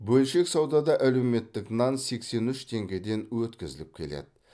бөлшек саудада әлеуметтік нан сексен үш теңгеден өткізіліп келеді